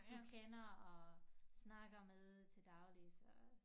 Du kender og snakker med til daglig så